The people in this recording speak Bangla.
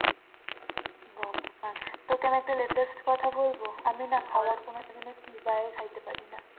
তোকে আমি একটা latest কথা বলব আমি না খাবার কোনদিন চিবাইয়া খাইতে পারি না